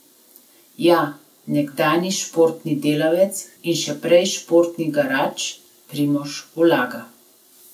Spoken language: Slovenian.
Ja, nekdanji športni delavec in še prej športni garač Primož Ulaga.